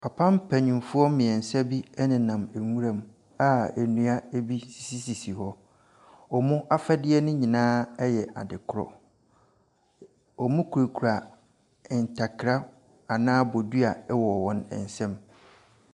Papa mpanimfoɔ mmiɛnsa bi nenam nwura mu a nnua bi sisisi hɔ. Wɔn afadeɛ nyinaa yɛ adekorɔ. Wɔkita ntakra anaa bofua wɔ wɔn nsam.